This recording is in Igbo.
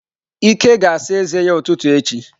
Ike ga ásà eze ya ututu echi.